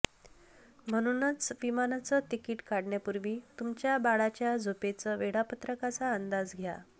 म्हणूनच विमानाचं तिकीट काढण्यापूर्वी तुमच्या बाळाच्या झोपेच वेळापत्रकाचा अंदाज घ्या